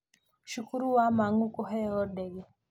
Cukuru wa Mang'u kuheeo ndege